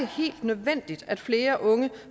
helt nødvendigt at flere unge